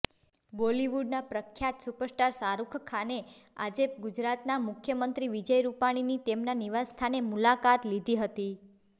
બોલિવુડના પ્રખ્યાત સુપરસ્ટાર શાહરૂખખાને આજે ગુજરાતના મુખ્યમંત્રી વિજય રૂપાણીની તેમના નિવાસસ્થાને મુલાકાત લીધી હતી